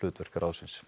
hlutverk ráðsins